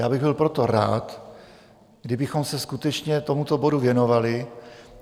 Já bych byl proto rád, kdybychom se skutečně tomuto bodu věnovali.